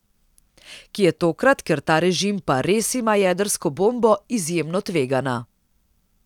Ki je tokrat, ker ta režim pa res ima jedrsko bombo, izjemno tvegana.